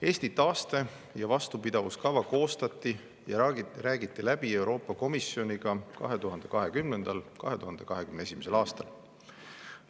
Eesti taaste- ja vastupidavuskava koostati ja räägiti läbi Euroopa Komisjoniga 2020.–2021. aastal.